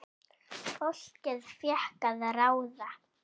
Fólkið fékk að ráða.